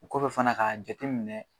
Kɔfɛ fana ka jateminɛ